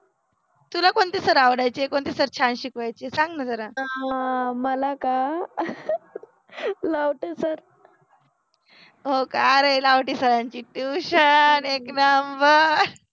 तुला कोणते सर आवडायचे कोणते सर छान शिकवायचे सांग न जरा, अ मला का लवते सर हो का, अरे लवते सरांचि टिवशन एक नम्बर